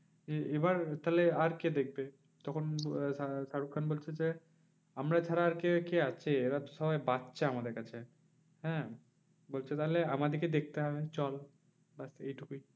এ এবার তাহলে আর কে দেখবে? তখন শা শাহরুখ খান বলছে যে, আমরা ছাড়া আর কে কে আছে? এরা তো সবাই বাচ্চা আমাদের কাছে। হ্যাঁ বলছে তাহলে আমাদেরকে দেখতে হবে চল ব্যাস এইটুকুই।